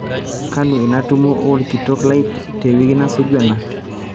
kanu ina tumo olkitok lai tewiki nasuju ena